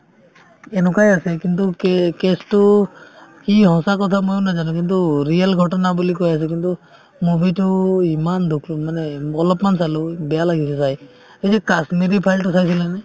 এনেকুৱাই আছে কিন্তু কে~ case তো কি সঁচা কথা ময়ো নাজানো কিন্তু real ঘটনা বুলি কৈ আছে কিন্তু movie তো ইমান দুখ মানে অলপমান চালো বেয়া লাগিছে চাই এই যে the কাশ্মীৰ files তো চাইছিলা নে?